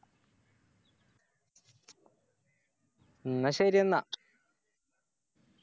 എന്ന ശരിയെന്ന